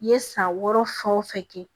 I ye san wɔɔrɔ fɛn o fɛn kɛ